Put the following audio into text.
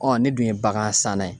ne dun ye bagan san na ye